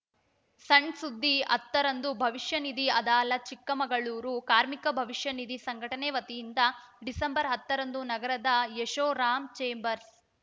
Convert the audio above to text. ಸಣ್‌ ಸುದ್ದಿ ಹತ್ತರಂದು ಭವಿಷ್ಯ ನಿಧಿ ಅದಾಲತ್‌ ಚಿಕ್ಕಮಗಳೂರು ಕಾರ್ಮಿಕರ ಭವಿಷ್ಯನಿಧಿ ಸಂಘಟನೆ ವತಿಯಿಂದ ಡಿಸೆಂಬರ್ ಹತ್ತರಂದು ನಗರದ ಯಶೋರಾಮ್‌ ಛೇಂಬರ್ಸ್‌